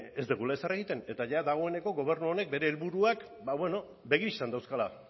ez dugula ezer egiten eta dagoeneko gobernu honek bere helburuak begi bistan dauzkala